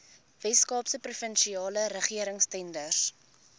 weskaapse provinsiale regeringstenders